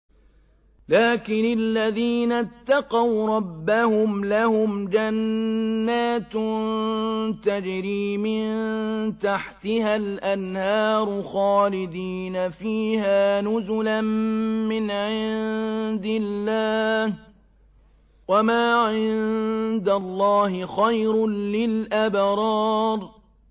لَٰكِنِ الَّذِينَ اتَّقَوْا رَبَّهُمْ لَهُمْ جَنَّاتٌ تَجْرِي مِن تَحْتِهَا الْأَنْهَارُ خَالِدِينَ فِيهَا نُزُلًا مِّنْ عِندِ اللَّهِ ۗ وَمَا عِندَ اللَّهِ خَيْرٌ لِّلْأَبْرَارِ